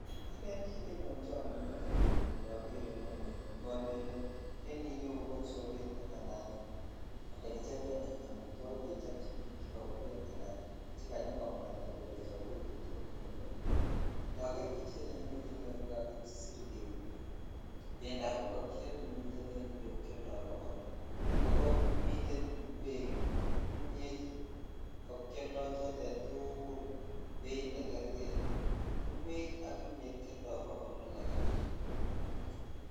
Elen kit nenyochon metinyu indoger ni ko olelen en iyeu ko soget alan olekichoben amutwogik kechobchin bik chekobuken ala chekanyokomwata kole chobwech kole indoger pichaini miten yuu kokakisur kele bendap ingonyet nemiten en iyeu keoldo bokol loo ako miten ingwek ,imiet ak keoldo chotet tukul beit negerkei ingwek ak imiet kioldo bokol loo kora.